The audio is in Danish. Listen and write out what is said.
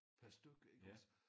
Per styk iggås